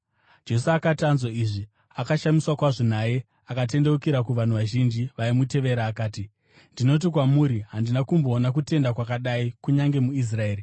Jesu akati anzwa izvi, akashamiswa kwazvo naye, akatendeukira kuvanhu vazhinji vaimutevera akati, “Ndinoti kwamuri, handina kumboona kutenda kwakadai kunyange muIsraeri.”